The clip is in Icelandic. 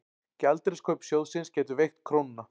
Gjaldeyriskaup sjóðsins gætu veikt krónuna